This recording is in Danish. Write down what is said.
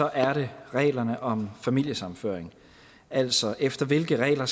er det reglerne om familiesammenføring altså efter hvilke regler